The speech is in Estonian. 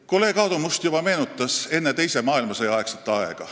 Kolleeg Aadu Must juba meenutas aega enne teist maailmasõda.